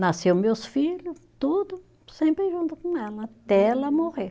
Nasceu meus filho, tudo sempre junto com ela, até ela morrer.